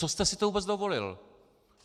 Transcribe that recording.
Co jste si to vůbec dovolil!